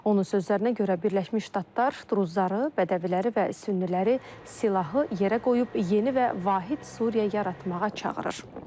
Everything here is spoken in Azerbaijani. Onun sözlərinə görə Birləşmiş Ştatlar, Druzları, Bədəviləri və Sünniləri silahı yerə qoyub yeni və vahid Suriya yaratmağa çağırır.